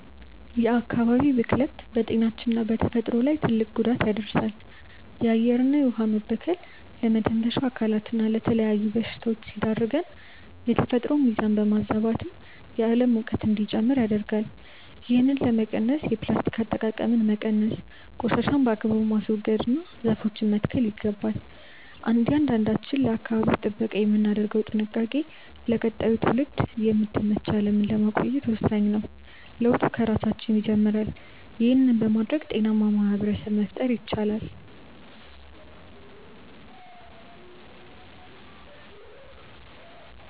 የአካባቢ ብክለት በጤናችንና በተፈጥሮ ላይ ትልቅ ጉዳት ያደርሳል። የአየርና የውኃ መበከል ለመተንፈሻ አካላትና ለተለያዩ በሽታዎች ሲዳርገን፣ የተፈጥሮን ሚዛን በማዛባትም የዓለም ሙቀት እንዲጨምር ያደርጋል። ይህንን ለመቀነስ የፕላስቲክ አጠቃቀምን መቀነስ፣ ቆሻሻን በአግባቡ ማስወገድና ዛፎችን መትከል ይገባል። እያንዳንዳችን ለአካባቢ ጥበቃ የምናደርገው ጥንቃቄ ለቀጣዩ ትውልድ የምትመች ዓለምን ለማቆየት ወሳኝ ነው። ለውጡ ከራሳችን ይጀምራል። ይህን በማድረግ ጤናማ ማኅበረሰብ መፍጠር ይቻላል።